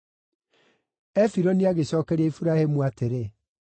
Efironi agĩcookeria Iburahĩmu atĩrĩ,